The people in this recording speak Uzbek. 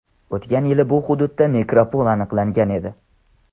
O‘tgan yili bu hududda nekropol aniqlangan edi.